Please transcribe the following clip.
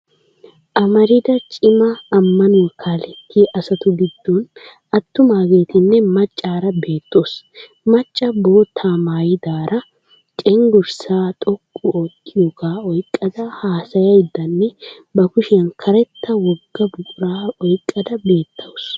Amarida cima ammanuwa kaalettiya asatu giddon attumaageetinne maccaara bettoosoona. Macca boottaa maayidaara cenggurssaa xoqqu oottiyaagaa oyqqada hasayayiddanne ba kushiyan karetta wogga buquraa oyqqada beettawusu.